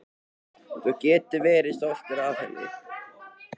Þú getur verið stoltur af henni.